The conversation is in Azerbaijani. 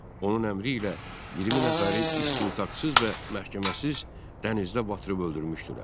Onun əmri ilə 20 nəfəri istintaqsız və məhkəməsiz dənizdə batırıb öldürmüşdülər.